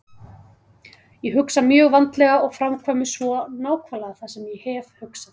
Ég hugsa mjög vandlega og framkvæmi svo nákvæmlega það sem ég hef hugsað.